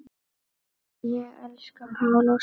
Ég elska Pál Óskar.